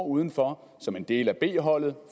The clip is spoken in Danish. udenfor som en del af b holdet